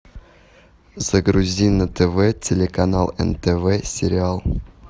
загрузи на тв телеканал нтв сериал